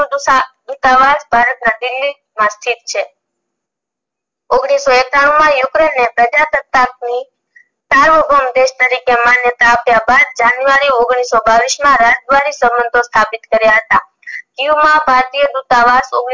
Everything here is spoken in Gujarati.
છે ઓગણીસો એકાણું માં ukraine ને પ્રજાસતા આપવી દેશ તરીકે માન્યતા આપ્યા બાદ january ઓગણીસો બાવીસ માં સંબંધો સ્થાપિત કર્યા હતા કિએવ માં ભારતીય દૂતાવાસ ઓગણીસો